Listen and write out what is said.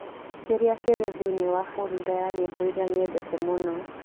kĩrĩa kĩrĩ thĩinĩ wa folda ya nyĩmbo iria nyendete mũno